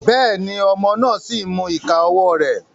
Béèni, ọmọ náà sí n mú ìká ọwọ rẹ